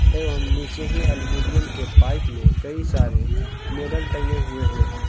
एवं नीचे ही अल्मुनियम के पाइप में कई सारे मेडल टंगे हुए हैं।